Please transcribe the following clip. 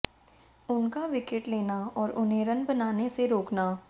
उनका विकेट लेना और उन्हें रन बनाने से रोकना